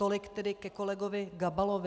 Tolik tedy ke kolegovi Gabalovi.